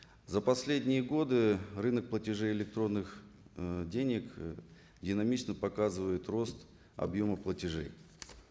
за последние годы рынок платежей электронных ыыы денег ы динамично показывает рост объема платежей